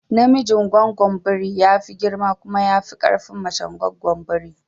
Namijin goggon biri ya fi girma kuma ya fi ƙarfin mace goggon biri